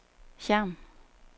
Hjerm